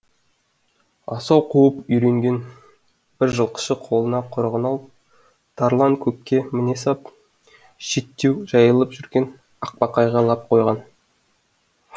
асау қуып үйренген бір жылқышы қолына құрығын алып тарланкөкке міне сап шеттеу жайылып жүрген ақбақайға лап қойған